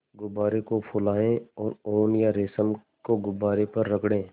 गुब्बारे को फुलाएँ और ऊन या रेशम को गुब्बारे पर रगड़ें